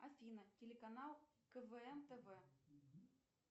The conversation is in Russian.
афина телеканал квн тв